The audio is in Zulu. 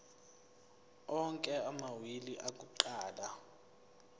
onke amawili akuqala